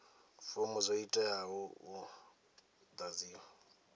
fomo dzo teaho u ḓadziwa